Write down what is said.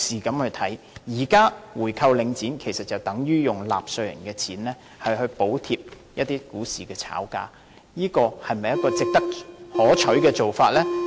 現時購回領展等於用納稅人的錢來補貼股市炒家，這是否可取的做法呢？